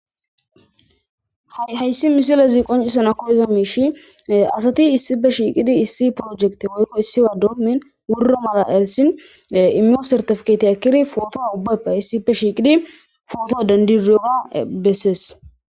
hayssi misilazi qoncisana koyeza miishi asati issife shiiqidi issi projekte woykko issiwa doomin wurro mala elisin immio sartifketi akkiri footoa ubbappe issife shiiqidi footo dandiriowa bessees